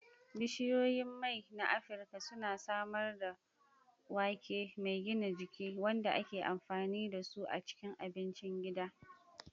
Bishiyoyin mai na Afirka suna samar da wake mai gina jiki, wanda ake amfani da su a cikin abincin gida.